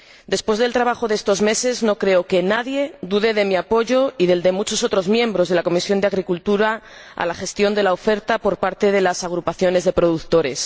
Después del trabajo de estos meses, no creo que nadie dude de mi apoyo y del de muchos miembros de la Comisión de Agricultura y Desarrollo Rural a la gestión de la oferta por parte de las agrupaciones de productores.